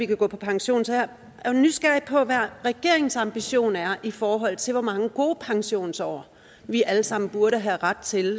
kan gå på pension så jeg er nysgerrig på at høre hvad regeringens ambition er i forhold til hvor mange gode pensionsår vi alle sammen burde have ret til